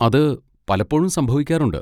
അത് പലപ്പോഴും സംഭവിക്കാറുണ്ട്.